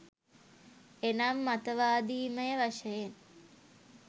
එනම් මතවාදීමය වශයෙන්